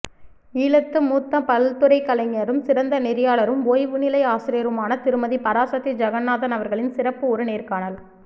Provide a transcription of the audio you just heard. ஈழத்து மூத்த பல்துறைக்கலைஞரும் சிறந்த நெறியாளரும் ஓய்வுனிலை ஆசிரியருமான திருமதி பாராசத்தி ஜெகநாதன் அவர்களின் சிறப்பு ஒருநேர்காணல்